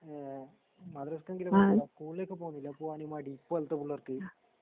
ഏഹ് മദ്രസയെങ്കിലും പോകില്ല സ്കൂളിലേക്ക് പോന്നില്ല പോകാന് മടി ഇപ്പൊളത്തെപുള്ളേർക്ക്.